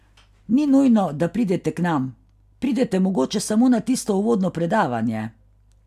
Ni nujno, da pridete k nam, pridete mogoče samo na tisto uvodno predavanje.